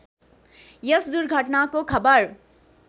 यस दुर्घटनाको खबर